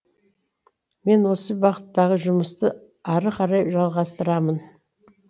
мен осы бағыттағы жұмысты ары қарай жалғастырамын